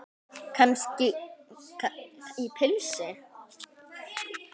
Gengur kannski í pilsi?